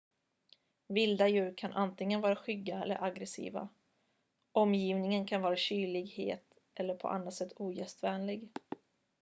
vilda djur kan antingen vara skygga eller aggressiva omgivningen kan vara kylig het eller på annat sätt ogästvänlig